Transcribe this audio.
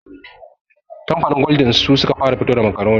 Kamfanin gwaldin su suka fara fito da makaroni